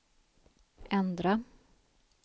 ändra